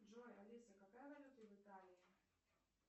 джой алиса какая валюта в италии